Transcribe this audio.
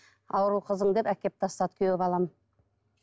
ауру қызың деп әкеліп тастады күйеу балам